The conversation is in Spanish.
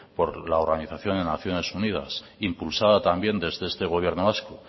por la organización de naciones unidad impulsada también desde este gobierno vasco